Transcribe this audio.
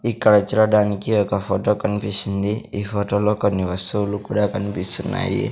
ఇక్కడ చూడడానికి ఒక ఫొటో కన్పిస్సుంది ఈ ఫోటో లో కొన్ని వస్తువులు కుడా కన్పిస్తున్నాయి.